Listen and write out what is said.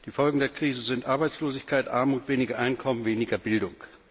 Die Folgen der Krise sind Arbeitslosigkeit, Armut, weniger Einkommen, weniger Bildung.